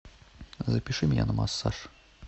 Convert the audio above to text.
запиши меня на массаж